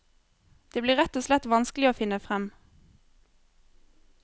Det blir rett og slett vanskelig å finne frem.